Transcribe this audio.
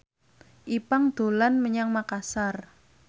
Ipank dolan menyang Makasar